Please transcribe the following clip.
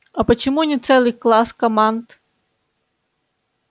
а почему не целый класс команд